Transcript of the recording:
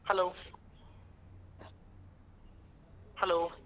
Hello hello.